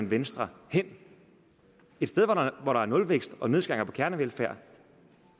venstre hen et sted hvor der er nulvækst og nedskæringer på kernevelfærd